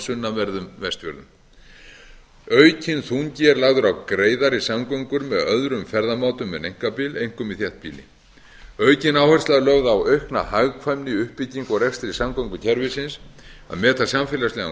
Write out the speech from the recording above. sunnanverðum vestfjörðum aukinn þungi er lagður á greiðari samgöngur með öðrum ferðamátum en einkabíl einkum í þéttbýli aukin áhersla er lögð á aukna hagkvæmni í uppbyggingu og rekstri samgöngukerfisins að meta samfélagslegan